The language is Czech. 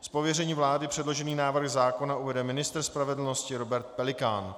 Z pověření vlády předložený návrh zákona uvede ministr spravedlnosti Robert Pelikán.